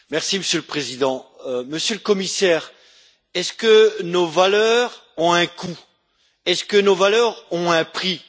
Monsieur le Président, Monsieur le Commissaire, est ce que nos valeurs ont un coût, est ce que nos valeurs ont un prix?